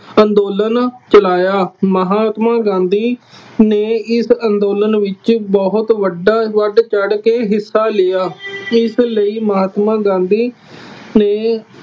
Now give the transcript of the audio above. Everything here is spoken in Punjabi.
ਅੰਦੋਲਨ ਚਲਾਇਆ। ਮਹਾਤਮਾ ਗਾਂਧੀ ਨੇ ਇਸ ਅੰਦੋਲਨ ਵਿੱਚ ਬਹੁਤ ਵੱਡਾ ਵੱਧ ਚੜ੍ਹ ਕੇ ਹਿੱਸਾ ਲਿਆ। ਇਸ ਲਈ ਮਹਾਤਮਾ ਗਾਂਧੀ ਨੇ